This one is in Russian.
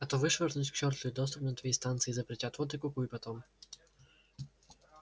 а то вышвырнут к чёрту и доступ на свои станции запретят вот и кукуй потом